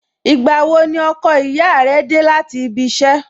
Ìgbà wo ni ọkọ ìyá rẹ dé láti ibi iṣẹ́?